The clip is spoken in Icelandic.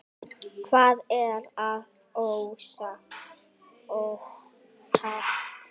Hvað er að óttast?